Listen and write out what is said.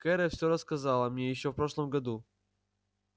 кэро все рассказала мне ещё в прошлом году